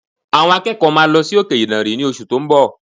Àwọn akẹ́kọ̀ọ́ máa lọ sí òkè ìdànrè ní oṣù tó ń bọ̀